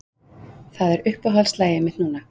Það er uppáhaldslagið mitt núna.